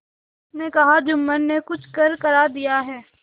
उसने कहाजुम्मन ने कुछ करकरा दिया है